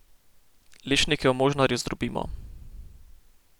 Lešnike v možnarju zdrobimo.